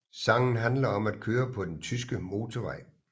Sangen handler om at køre på den tyske motorvej